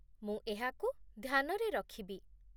ମୁଁ ଏହାକୁ ଧ୍ୟାନରେ ରଖିବି।